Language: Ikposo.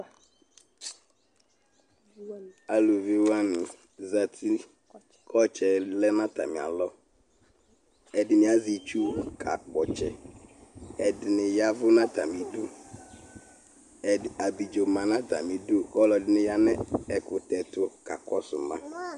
Alʋvi wani zati kʋ ɔtsɛlɛ nʋ atami alɔ ɛdini azɛ itsʋ kakpɔ ɔtsɛ ɛdini ya ɛvʋ atami idʋ abidzo manʋ atami idʋ ɔlɔdini yanʋ ɛkʋtɛtʋ kakɔsʋ ma